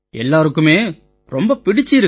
எல்லாருக்குமே ரொம்ப பிடிச்சிருக்கு